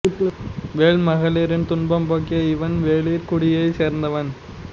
வேள் மகளிரின் துன்பம் போக்கிய இவன் வேளிர் குடியைச் சேர்ந்தவன்